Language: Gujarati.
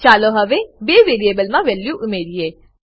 ચાલો હવે બે વેરીએબલમા વેલ્યુ ઉમેરીએ